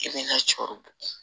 I bɛ na cɔrɔ bɔ